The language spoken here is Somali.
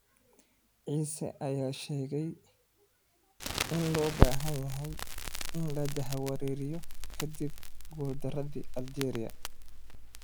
cisse ayaa sheegay in aan loo baahnayn in la jahawareeriyo ka dib guuldaradii Algeria.